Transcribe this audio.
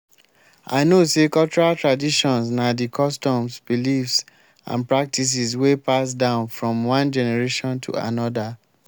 i know say cultural traditions na di customs beliefs and practices wey pass down from one generation to anoda.